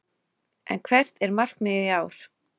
En hvert er markmiðið í ár?